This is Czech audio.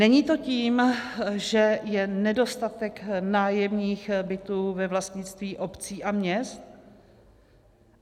Není to tím, že je nedostatek nájemních bytů ve vlastnictví obcí a měst?